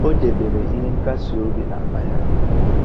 O debere ihe nkasi obi n'akpa ya